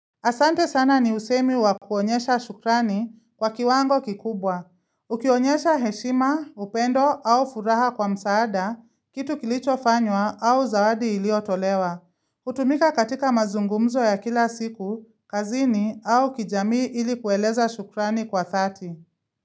Asante sana ni usemi wa kuonyesha shukrani kwa kiwango kikubwa. Ukionyesha heshima, upendo au furaha kwa msaada, kitu kilicho fanywa au zawadi iliotolewa. Hutumika katika mazungumzo ya kila siku, kazini au kijamii ili kueleza shukrani kwa dhati.